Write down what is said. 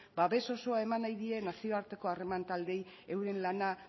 babes osoa eman nahi die nazioarteko harreman taldeei euren lana